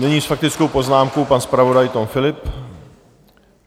Nyní s faktickou poznámkou pan zpravodaj Tom Philipp.